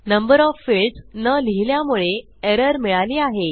number of fields न लिहिल्यामुळे error मिळाली आहे